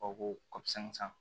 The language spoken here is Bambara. O ko kɔsɔn